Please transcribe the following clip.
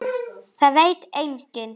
Það veit enginn